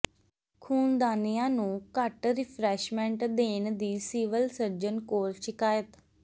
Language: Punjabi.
ਖ਼ੂਨਦਾਨੀਆਂ ਨੂੰ ਘੱਟ ਰਿਫਰੈਸ਼ਮੈਂਟ ਦੇਣ ਦੀ ਸਿਵਲ ਸਰਜਨ ਕੋਲ ਸ਼ਿਕਾਇਤ